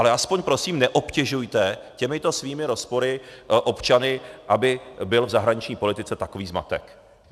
Ale alespoň prosím neobtěžujte těmito svými rozpory občany, aby byl v zahraniční politice takový zmatek.